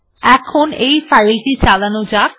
এখন এই ফাইলটি চালানো যাক